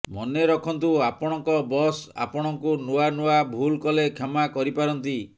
ମନେରଖନ୍ତୁ ଆପଣଙ୍କ ବସ୍ ଆପଣଙ୍କୁ ନୂଆ ନୂଆ ଭୁଲ୍ କଲେ କ୍ଷମା କରିପାରନ୍ତି